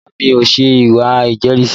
Rárá mi ò ṣe ìwé ìjẹ́rìísí